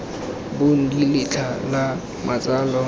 bong d letlha la matsalo